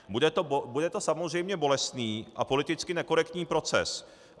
Bude to samozřejmě bolestný a politicky nekorektní proces.